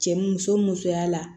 Cɛ muso musoya la